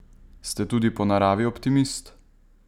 Ste tudi po naravi optimist?